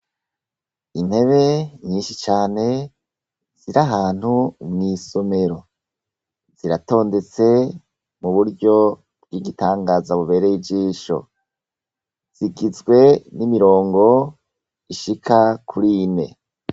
Intebe nyinshi cane ziri ahantu mw'isomero ziratondetse muburyo bw'igitanagaza bubereye ijisho zigizwe n'imirongo ishaka kur'ine.